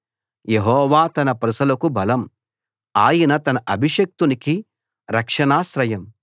యెహోవా తన ప్రజలకు బలం ఆయన తన అభిషిక్తునికి రక్షణాశ్రయం